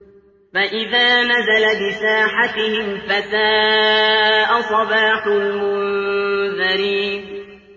فَإِذَا نَزَلَ بِسَاحَتِهِمْ فَسَاءَ صَبَاحُ الْمُنذَرِينَ